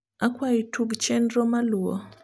akwai tug chenro maluo